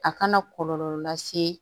A kana kɔlɔlɔ lase